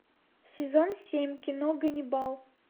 сезон семь кино ганнибал